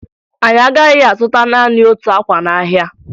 Anyị agaghị azụta naanị otu akwa n'ahịa